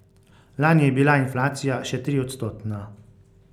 Lani je bila inflacija še triodstotna.